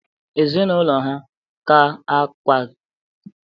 Ezinụlọ ha ga-akwaga Ikoyi?